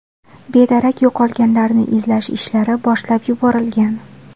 Bedarak yo‘qolganlarni izlash ishlari boshlab yuborilgan.